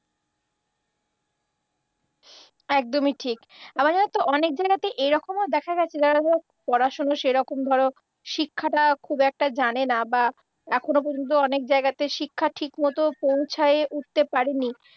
একদমই ঠিক। আবার জানো তো অনেক জায়গাতে এরকমও দেখা গেছে যারা ধরো পড়াশুনো সেরকম ধরো শিক্ষাটা খুব একটা জানেনা বা এখনও পর্যন্ত অনেক জায়গাতে শিক্ষা ঠিকমত পৌঁছায় উঠতে পারেনি